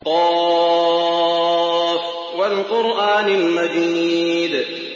ق ۚ وَالْقُرْآنِ الْمَجِيدِ